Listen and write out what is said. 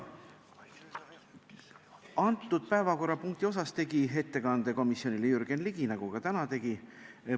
Antud päevakorrapunkti teemal tegi ettekande komisjonile Jürgen Ligi, nagu ta ka täna tegi.